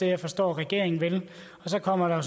jeg forstår regeringen vil og så kommer der